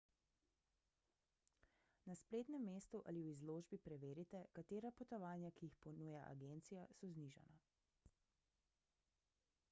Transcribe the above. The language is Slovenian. na spletnem mestu ali v izložbi preverite katera potovanja ki jih ponuja agencija so znižana